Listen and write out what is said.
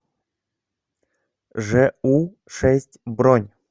жэу шесть бронь